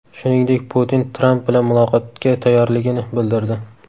Shuningdek, Putin Tramp bilan muloqotga tayyorligini bildirdi.